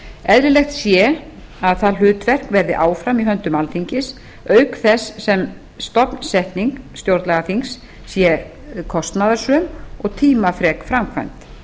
eðlilegt sé að það hlutverk verði áfram í höndum alþingis auk þess sem stofnsetning stjórnlagaþings sé kostnaðarsöm og tímafrek framkvæmd